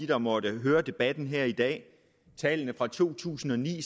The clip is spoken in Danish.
der måtte høre debatten her i dag at tallene fra to tusind og ni